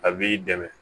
A b'i dɛmɛ